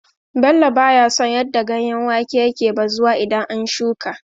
Bello ba ya son yadda ganyen wake yake bazuwa idan an shuƙa.